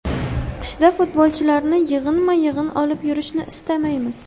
Qishda futbolchilarni yig‘inma-yig‘in olib yurishni istamaymiz.